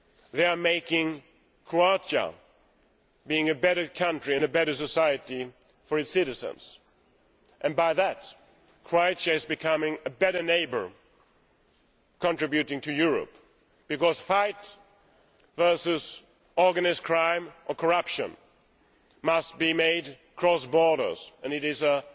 They are making Croatia a better country and a better society for its citizens and by that, Croatia is becoming a better neighbour and contributing to Europe, because fights against organised crime or corruption must be made across borders, and it is an